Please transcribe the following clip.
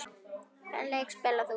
Hvaða leik spilar þú?